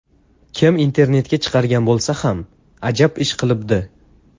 Kim internetga chiqargan bo‘lsa ham, ajab ish qilibdi.